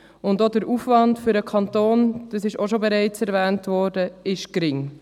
Auch der Aufwand für den Kanton – das wurde ebenfalls bereits gesagt – ist gering.